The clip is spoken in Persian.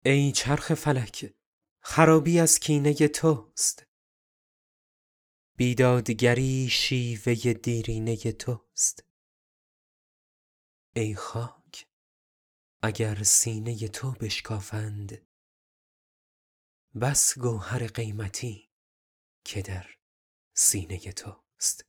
ای چرخ فلک خرابی از کینه توست بی دادگری شیوه دیرینه توست ای خاک اگر سینه تو بشکافند بس گوهر قیمتی که در سینه توست